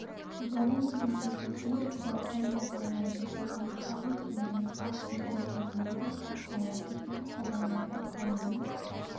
субарендаға беруге байқау жариялайды оған шағын және орта бизнес өкілдері қатыса алады деп хабарлайды қаланың